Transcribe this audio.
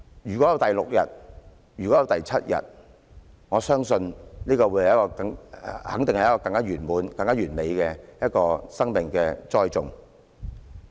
如果有第六天或第七天，我相信這樣肯定可以成就一個更完滿、更完美的生命栽種。